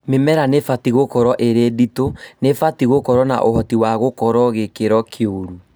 Mĩmera nĩibatie gũkorwo ĩrĩ nditũ, nĩbatie gũkorwo na ũhoti wa gũkorwo gĩkĩro kĩũru